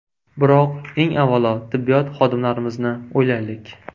Biroq, eng avvalo, tibbiyot xodimlarimizni o‘ylaylik.